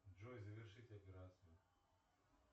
джой завершить операцию